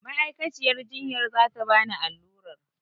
Ma'aikaciyar jiyyar za ta bani allurar.